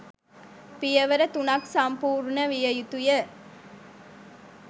පියවර තුනක් සම්පූර්ණ විය යුතු ය.